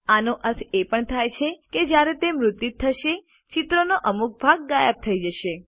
આનો અર્થ એ પણ થાય છે કે જ્યારે તે મુદ્રિત થશે ચિત્રનો અમુક ભાગ ગાયબ થઇ જશે